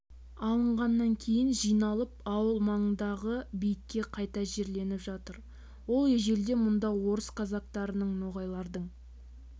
алынғаннан кейін жиналып ауыл маңындағы бейітке қайта жерленіп жатыр ол ежелде мұнда орыс казактарының ноғайлардың